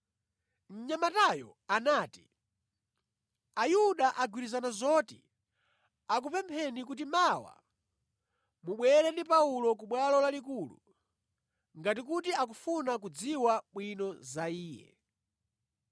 Mnyamatayo anati, “Ayuda agwirizana zoti akupempheni kuti mawa mubwere ndi Paulo ku Bwalo Lalikulu, ngati kuti akufuna kudziwa bwino za iye.